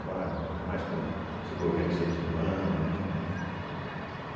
Agora, ainda mais co com esse governo incentivando muito, né?